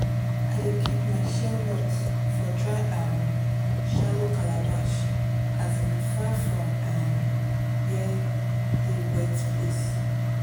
i dey keep my shea nuts for dry um shallow calabash as in far from um where dey wet place.